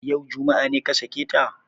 Yau, juma'a, ne ka sake ta?